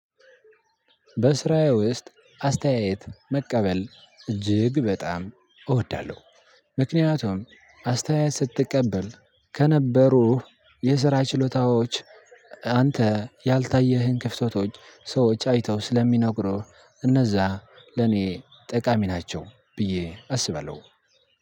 በስራዬ ውስጥ አስተያየት መቀበል እጅግ በጣም እወዳለሁ። አስተያየት ስትቀበል ከነበሩህ የስራ ችሎታዎች አንተ ያልታየህን ክፍተቶች ሰዎች አይተው ስለሚነግሩህ እነዛ ለኔ ጠቃሚ ናቸው ብዬ አስበለው።